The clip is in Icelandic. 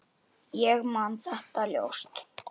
Ég man þetta óljóst.